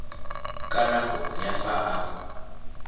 ka nako ya fa a